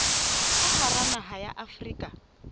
ka hara naha ya afrika